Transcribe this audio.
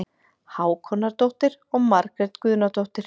Hákonardóttir og Margrét Guðnadóttir.